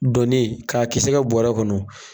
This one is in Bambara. Donni k'a kisɛ kɛ bɔrɔ kɔnɔ